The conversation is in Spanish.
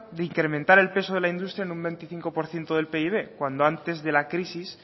de incrementar el peso de la industria en un veinticinco por ciento del pib cuando antes de la crisis